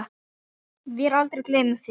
Vér aldrei gleymum þér.